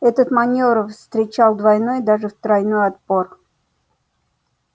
этот манёвр встречал двойной даже тройной отпор